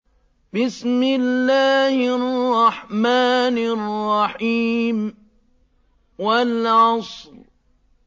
وَالْعَصْرِ